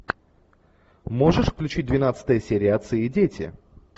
можешь включить двенадцатая серия отцы и дети